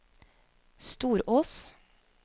Storås